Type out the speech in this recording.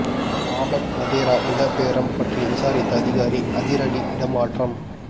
Robert Vadra நில பேரம் பற்றி விசாரித்த அதிகாரி அதிரடி இடமாற்றம்